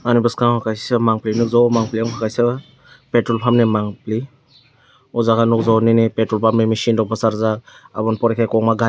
boskango kaisa mangphi nogjagoi mangphi angkha kaisa petrol pump ni mangphi o jaga nogjago nini petrol pump ni mechine rok kbosarjak aboni pore ke.